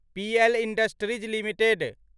PL industries limited